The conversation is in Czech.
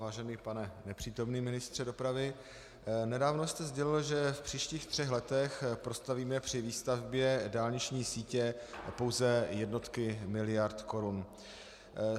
Vážený pane nepřítomný ministře dopravy, nedávno jste sdělil, že v příštích třech letech prostavíme při výstavbě dálniční sítě pouze jednotky miliard korun.